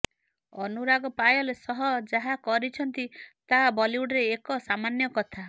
ଅନୁରାଗ ପାୟଲ ସହ ଯାହା କରିଛନ୍ତି ତାହା ବଲିଉଡରେ ଏକ ସାମାନ୍ୟ କଥା